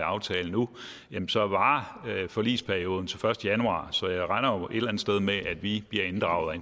aftale nu jamen så varer forligsperioden til den første januar så jeg regner jo andet sted med at vi bliver inddraget